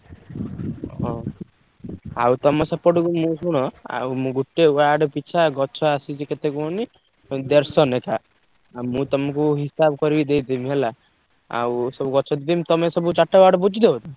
ଓ! ଆଉ ତମ ସେପଟକୁ ମୁଁ ଶୁଣ ଆଉ ମୁ ଗୋଟେ ward ପିଛା ଗଛ ଆସିଛି କେତେ କୁହନି ଉଁ ଦେଢସ ନେଖା। ଆଉ ମୁଁ ତମୁକୁ ହିସାବ କରି ଦେଇଦେବି ହେଲା, ଆଉ ସବୁ ଗଛ ଯେମତି ତମେ ସବୁ ଚାରି ଟା ward ବୁଝିଦବ ତ?